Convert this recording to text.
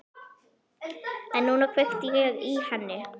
En núna kveikti ég í henni.